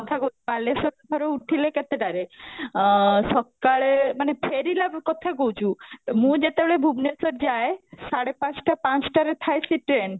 କଥା କ, ବାଲେଶ୍ୱର ଉଠିଲେ କେତେଟ ରେ ଅ ସକାଳେ ମାନେ ଫେରିଲା କଥା କହୁଛୁ, ମୁଁ ଯେତେବେଳେ ଭୁବନେଶ୍ୱର ଯାଏ ସାଢେ ପାଞ୍ଚଟା ପାଞ୍ଚଟା ରେ ଥୟ ସେ train